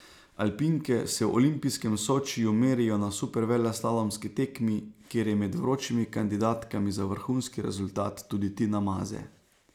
Alpinke se v olimpijskem Sočiju merijo na superveleslalomski tekmi, kjer je med vročimi kandidatkami za vrhunski rezultat tudi Tina Maze.